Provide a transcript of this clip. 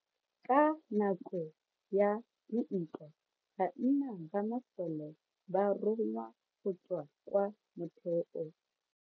Ka nako ya dintwa banna ba masole ba rongwa go tswa kwa motheo.